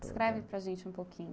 Descreve para a gente um pouquinho.